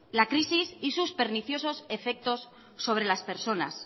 la crisis y sus perniciosos efectos sobre las personas